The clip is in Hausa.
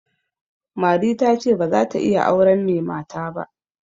Mari ta ce ba za ta iya auren mai mata ba.